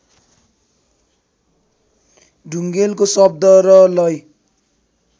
ढुङेलको शब्द र लय